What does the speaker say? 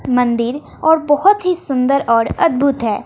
मंदिर और बहोत ही सुंदर और अद्भुत है।